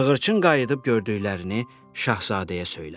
Sığırçın qayıdıb gördüklərini şahzadəyə söylədi.